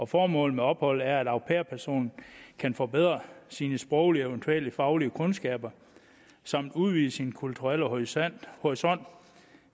formålet med opholdet er at au pair personen kan forbedre sine sproglige og eventuelle faglige kundskaber samt udvide sin kulturelle horisont horisont